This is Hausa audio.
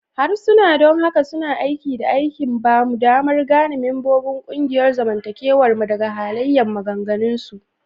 Harsuna don haka suna aiki da aikin ba mu damar gane membobin ƙungiyar zamantakewar mu daga halayen maganganunsu.